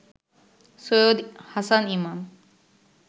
Syed Hasan Imam